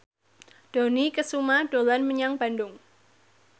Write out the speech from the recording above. Dony Kesuma dolan menyang Bandung